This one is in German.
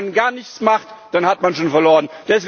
Aber wenn man gar nichts macht, dann hat man schon verloren.